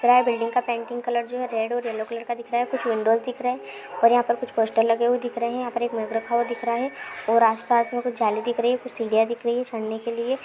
Billing building का painting colour जो है रेड और यल्लो कलर का दिख रहा है कुछ विंडोस दिख रहे हैं और यहाँ खुच पोस्टर लगे हुए दिख रहे हैं यहाँ पे एक मेप रखा हुआ दिख रहा है और आसपास में कुछ जाली दिख रही है सीढ़ियां दिख रही हैं चड़ने के लिए।